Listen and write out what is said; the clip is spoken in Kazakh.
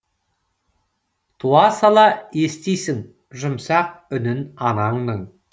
туа сала естисің жұмсақ үнін анаңның